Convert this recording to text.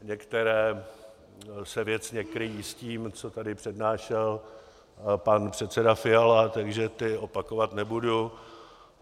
Některá se věcně kryjí s tím, co tady přednášel pan předseda Fiala, takže ta opakovat nebudu.